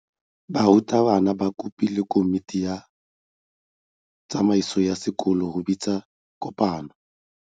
Burutabana ba kopile komiti ya tsamaiso ya sekolo go bitsa kopano.